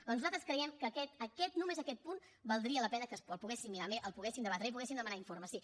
doncs nosaltres creiem que aquest aquest només aquest punt valdria la pena que el poguéssim mirar bé el poguéssim debatre i poguéssim demanar informes sí